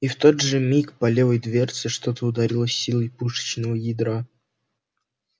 и в тот же миг по левой дверце что-то ударило с силой пушечного ядра